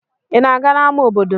Ị na-aga n'ámá obodo?